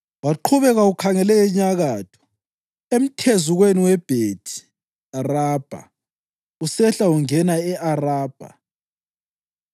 Waqhubeka ukhangele enyakatho, emthezukweni weBhethi Arabha usehla ungena e-Arabha.